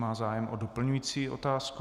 Má zájem o doplňující otázku.